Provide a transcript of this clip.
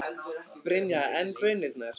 Brynja: En baunirnar?